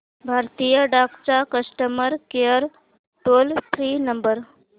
भारतीय डाक चा customer care toll free number